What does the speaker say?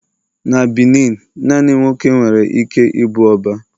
na Benin, nani nwoke nwere ike ibu oba